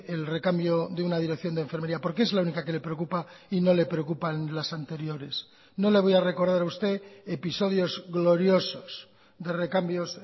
el recambio de una dirección de enfermería por qué es la única que le preocupa y no le preocupan las anteriores no le voy a recordar a usted episodios gloriosos de recambios